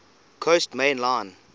coast main line